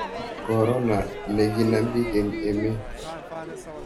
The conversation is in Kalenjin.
korona ne kikonam bik eng emet